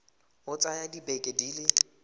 ka tsaya dibeke di le